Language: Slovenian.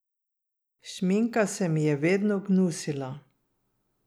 Šminka se mi je vedno gnusila.